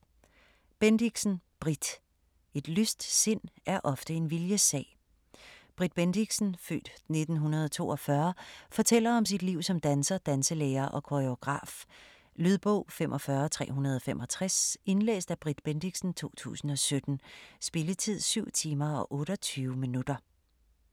Bendixen, Britt: Et lyst sind er ofte en viljessag Britt Bendixen (f. 1942) fortæller om sit liv som danser, danselærer og koregraf. Lydbog 45365 Indlæst af Britt Bendixen, 2017. Spilletid: 7 timer, 28 minutter.